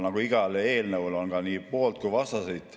Nagu igal eelnõul, on ka siin nii pooldajaid kui ka vastaseid.